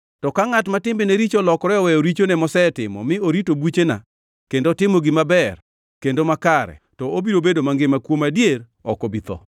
“To ka ngʼat ma timbene richo olokore oweyo richone mosetimo mi orito buchena kendo otimo gima ber kendo makare, to obiro bedo mangima kuom adier; ok obi tho.